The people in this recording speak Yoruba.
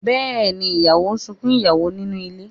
Bẹ́èni, ìyàwó ń sunkún ìyàwó nínú ilé